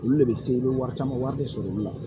Olu de bɛ se i bɛ wari caman wari de sɔrɔ olu la